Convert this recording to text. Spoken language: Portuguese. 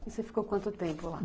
E você ficou quanto tempo lá?